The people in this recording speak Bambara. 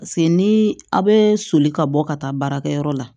Paseke ni aw bɛ soli ka bɔ ka taa baarakɛyɔrɔ la